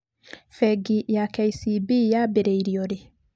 Bengi ya KCB yambĩrĩirio rĩ?